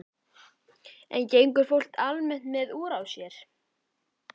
En gengur fólk almennt með úr á sér?